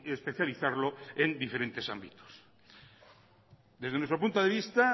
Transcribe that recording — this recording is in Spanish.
especializarlo en diferentes ámbitos desde nuestro punto de vista